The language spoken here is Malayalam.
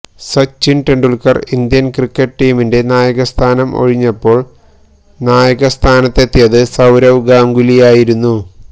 സച്ചിന് ടെന്ഡുല്ക്കര് ഇന്ത്യന് ക്രിക്കറ്റ് ടീമിന്റെ നായക സ്ഥാനം ഒഴിഞ്ഞപ്പോള് നായകസ്ഥാനത്തെത്തിയത് സൌരവ് ഗാംഗുലിയായിരുന്നു